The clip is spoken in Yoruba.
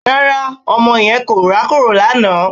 Rárá ọmọ yẹn kò rákòrò lánàá